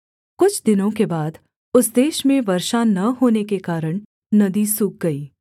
कुछ दिनों के बाद उस देश में वर्षा न होने के कारण नदी सूख गई